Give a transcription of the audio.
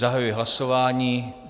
Zahajuji hlasování.